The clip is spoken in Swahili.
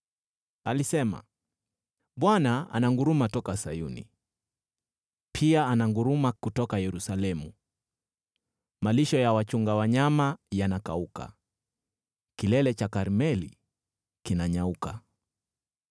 Alisema: “ Bwana ananguruma toka Sayuni, pia ananguruma kutoka Yerusalemu; malisho ya wachunga wanyama yanakauka, kilele cha Karmeli kinanyauka.”